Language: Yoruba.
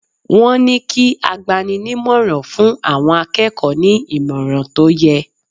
Wọ́n ní kí agbani-ní-ìmọ̀ràn fún àwọn akẹ́kọ̀ọ́ ní ìmọ̀ràn tó yẹ.